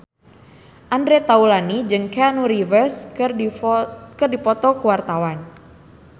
Andre Taulany jeung Keanu Reeves keur dipoto ku wartawan